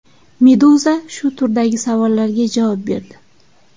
Meduza shu turdagi savollarga javob berdi .